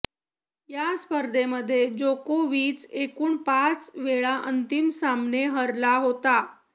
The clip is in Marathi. या स्पर्धेमध्ये जोकोविच एकूण पाच वेळा अंतिम सामने हरला होता